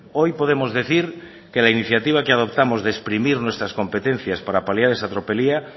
hoy podemos decir que la iniciativa que adoptamos de exprimir nuestras competencias para paliar esa tropelía